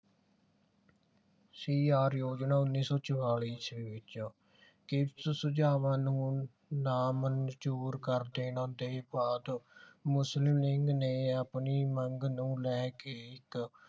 ਸ਼੍ਰੀ ਯੋਜਨਾ ਉੱਨੀ ਸੋ ਚੁਮਾਲੀ ਈਸਵੀ ਵਿਚ ਸੁਝਾਵਾਂ ਨੂੰ ਨਾਮੰਜੂਰ ਕਰ ਦੇਣ ਦੇ ਬਾਅਦ ਮੁਸਲਿਮ ਲੀਗ ਨੇ ਆਪਣੀ ਮੰਗ ਨੂੰ ਲੈ ਕੇ ਇਕ